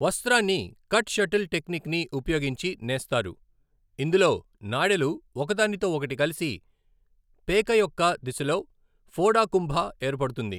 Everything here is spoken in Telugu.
వస్త్రాన్ని 'కట్ షటిల్ టెక్నిక్'ని ఉపయోగించి నేస్తారు, ఇందులో నాడెలు ఒకదానితో ఒకటి కలిసి పేక యొక్క దిశలో ఫోడా కుంభా ఏర్పడుతుంది.